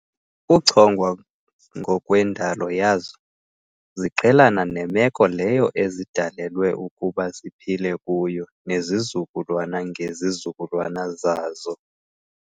Ngokuchongwa ngokwendalo yazo, ziqhelana nemeko leyo ezidalelwe ukuba ziphile kuyo nezizululwana ngezizukulwana zazo.